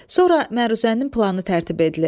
Sonra məruzənin planı tərtib edilir.